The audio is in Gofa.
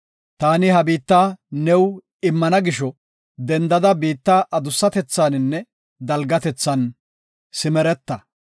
Taani ha biitta new immana gisho dendada biitta adussatethaninne dalgatethan simereta.”